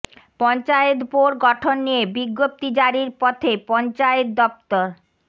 পঞ্চায়েতে বোর্ড গঠন নিয়ে বিজ্ঞপ্তি জারির পথে পঞ্চায়েত দফতর